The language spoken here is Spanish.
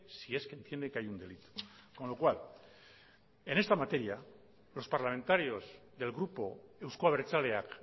si es que entiende que hay un delito con lo cual en esta materia los parlamentarios del grupo euzko abertzaleak